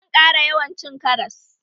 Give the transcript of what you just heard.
Zan ƙara yawan cin karas